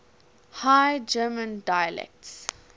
high german dialects